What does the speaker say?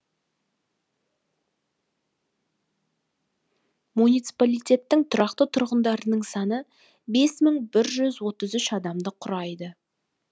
муниципалитеттің тұрақты тұрғындарының саны бес мың бір жүз отыз үш адамды құрайды